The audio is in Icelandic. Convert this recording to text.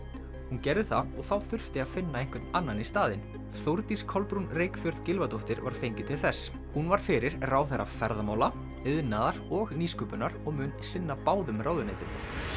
hún gerði það og þá þurfti að finna einhvern annan í staðinn Þórdís Kolbrún Reykfjörð Gylfadóttir var fengin til þess hún var fyrir ráðherra ferðamála iðnaðar og nýsköpunar og mun sinna báðum ráðuneytum